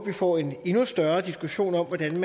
vi får en endnu større diskussion om hvordan